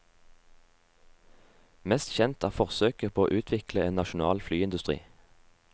Mest kjent er forsøket på å utvikle en nasjonal flyindustri.